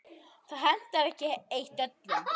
Það hentar ekki eitt öllum.